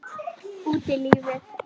Út í lífið